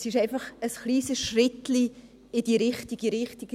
Es ist einfach ein kleines Schrittchen in die richtige Richtung.